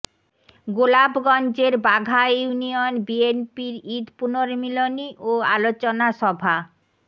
গোলাপগঞ্জের বাঘা ইউনিয়ন বিএনপির ঈদ পুনর্মিলনী ও আলোচনা সভা